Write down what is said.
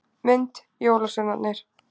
Mynd: Jólasveinarnir.